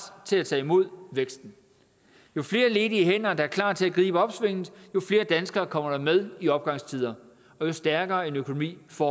til at tage imod væksten jo flere ledige hænder der er klar til at gribe opsvinget jo flere danskere kommer der med i opgangstider og jo stærkere en økonomi får